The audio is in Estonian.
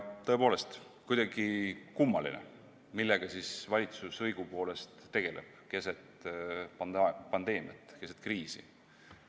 Tõepoolest, kuidagi kummaline, millega siis valitsus õigupoolest tegeleb keset pandeemiat, keset kriisi.